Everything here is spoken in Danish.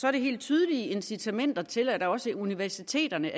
er det helt tydelige incitamenter til at også universiteterne